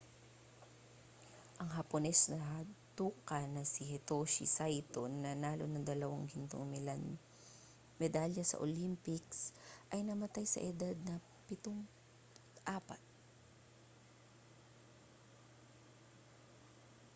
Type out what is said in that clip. ang hapones na judoka na si hitoshi saito na nanalo ng dalawang gintong medalya sa olympics ay namatay na sa edad na 54